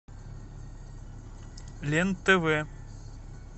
лен тв